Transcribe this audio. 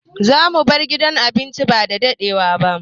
Zamu bar gidan abincin ba dadadewa ba.